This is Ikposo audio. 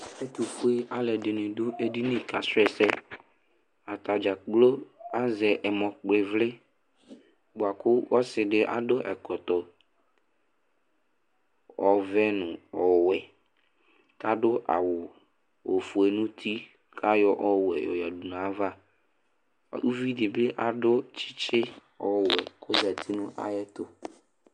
Alʋɛdìní aɖu ɛɖìní kasu ɛsɛ Ataŋi dza kplo azɛ ɛmɔ kpɔ ivli bʋakʋ ɔsiɖi aɖu ɛkɔtɔ ɔvɛ ŋu ɔwɛ kʋ aɖu awu ɔfʋe ŋu ʋti kʋ ayɔ ɔwɛ yɔ yaɖu ŋu ava Uvìɖí bi aɖu tsitsi ɔwɛ kʋ ɔzɛti ŋu ayɛtʋ